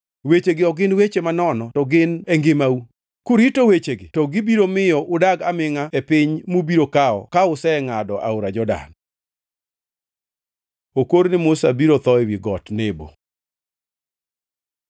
Wechegi ok gin weche manono to gin e ngimau. Kurito wechegi to gibiro miyo udag amingʼa e piny mubiro kawo ka usengʼado aora Jordan.” Okor ni Musa biro tho ewi Got Nebo